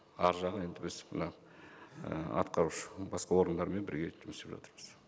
аржағы енді біз мына і атқарушы басқа органдармен бірге жұмыс істеп жатырмыз